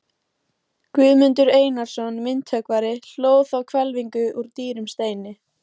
Guðmundur Einarsson myndhöggvari hlóð þá hvelfingu úr dýrum steini.